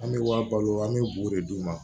An bɛ wa balo an bɛ bugu de d'u ma